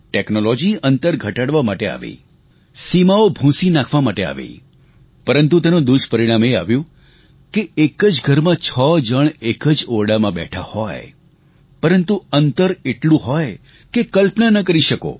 technology અંતર ઘટાડવા માટે આવી સીમાઓ ભૂંસી નાખવા માટે આવી પરંતુ તેનું દુષ્પરિણામ એ આવ્યું કે એક જ ઘરમાં છ જણા એક જ ઓરડામાં બેઠા હોય પરંતુ અંતર એટલું હોય કે ક્લપના ન કરી શકો